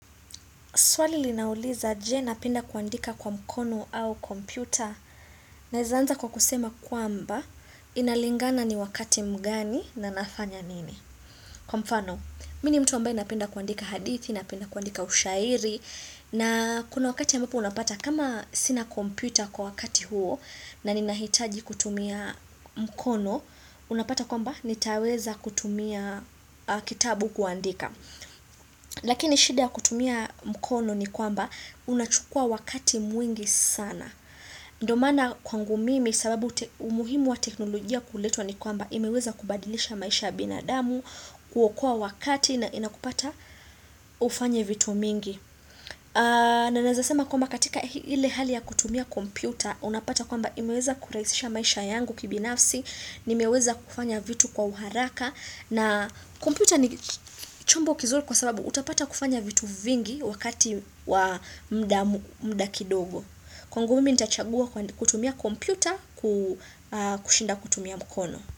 Swali linauliza je napenda kuandika kwa mkono au kompyuta naeza anza kwa kusema kwamba inalingana ni wakati mgani na nafanya nini. Kwa mfano, mini mtu ambae napenda kuandika hadithi, napenda kuandika ushairi na kuna wakati ambapo unapata kama sina kompyuta kwa wakati huo na ninahitaji kutumia mkono, unapata kwamba nitaweza kutumia kitabu kuandika. Lakini shida kutumia mkono ni kwamba unachukua wakati mwingi sana ndo mana kwangu mimi sababu umuhimu wa teknolojia kuletwa ni kwamba imeweza kubadilisha maisha binadamu kuokoa wakati na inakupata ufanye vitu mingi na naezasema kwamba katika hile hali ya kutumia kompyuta Unapata kwamba imeweza kuraisisha maisha yangu kibinafsi nimeweza kufanya vitu kwa uharaka na kompyuta ni chombo kizuli kwa sababu utapata kufanya vitu vingi wakati wa mda kidogo. Kwangu mimi nitachagua kutumia kompyuta kushinda kutumia mukono.